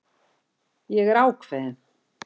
Ég er ákveðin.